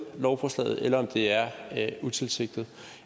lovforslaget eller om det er utilsigtet